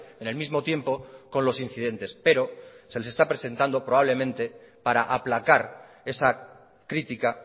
en el mismo tiempo con los incidentes pero se les está presentado probablemente para aplacar esa crítica